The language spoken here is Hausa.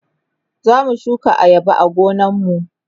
zamu shuka ayaba a gonan mu